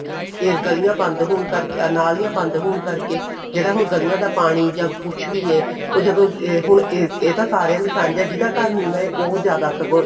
ਇਹ ਗਲੀਆਂ ਬੰਦ ਹੋਣ ਕਰਕੇ ਨਾਲੀਆਂ ਬੰਦ ਹੋਣ ਕਰਕੇ ਜਿਹੜਾ ਹੁਣ ਗਲੀਆਂ ਦਾ ਪਾਣੀ ਜਾਂ ਕੁੱਝ ਵੀ ਹੈ ਉਹ ਜਦੋ ਹੁਣ ਇਹ ਅਹ ਤਾਂ ਸਾਰਿਆਂ ਦਾ ਸਾਂਝਾ ਹੈ ਜਿਹਦਾ ਘਰ ਨੀਵਾਂ ਹੈ ਉਹ ਜ਼ਿਆਦਾ ਸਗੋਂ